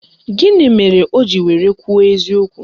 Gịnị mere o ji were kwuo eziokwu?